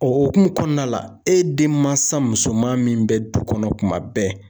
O hukumu kɔnɔna la e den mansa musoman min bɛ du kɔnɔ kuma bɛɛ